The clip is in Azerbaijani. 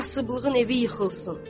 Kasıblığın evi yıxılsın.